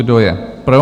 Kdo je pro?